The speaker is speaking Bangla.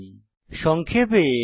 সংক্ষেপে আমরা কি শিখেছি